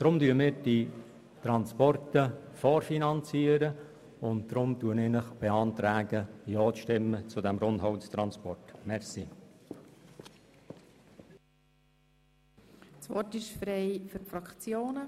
Darum finanzieren wir die Transporte vor, und darum beantrage ich Ihnen, zum Rundholztransport ja zu stimmen.